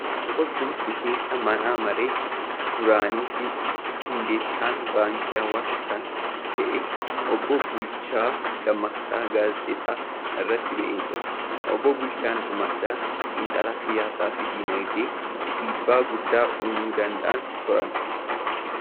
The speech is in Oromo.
Boqochuun miseensa mana maree duraanii fi hundeessaan baankii Awaash kan ta'an obbo Bulchaa Dammaqsaa gaazexaa irratti ba'ee jira. Obbo Bulchaa Dammaqsaan xiinxalaa siyaasaa fi diinagdee dhiibbaa guddaa uumuu danda'an turan.